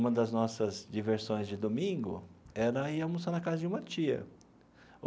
Uma das nossas diversões de domingo era ir almoçar na casa de uma tia.